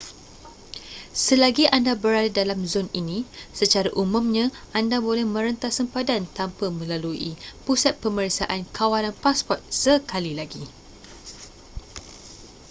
selagi anda berada dalam zon ini secara umumnya anda boleh merentas sempadan tanpa melalui pusat pemeriksaan kawalan pasport sekali lagi